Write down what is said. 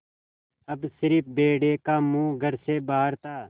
अब स़िर्फ भेड़िए का मुँह घर से बाहर था